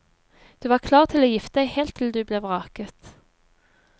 Du var klar til å gifte deg helt til du ble vraket.